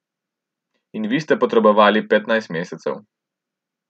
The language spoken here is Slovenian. In vi ste potrebovali petnajst mesecev.